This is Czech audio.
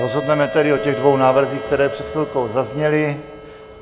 Rozhodneme tedy o těch dvou návrzích, které před chvilkou zazněly.